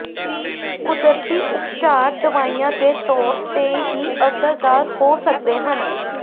ਕੁਦਰਤੀ ਉਪਚਾਰ ਦਵਾਈਆਂ ਦੇ ਤੌਰ ਤੇ ਹੀ ਅਸਰਦਾਰ ਹੋ ਸਕਦੇ ਹਨ